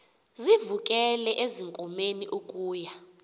sivukele ezinkomeni ukuya